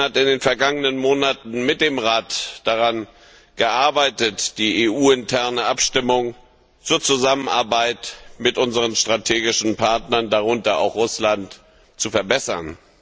Catherine Ashton hat in den vergangenen Monaten mit dem Rat daran gearbeitet, die EU interne Abstimmung zur Zusammenarbeit mit unseren strategischen Partnern, darunter auch Russland, zu verbessern.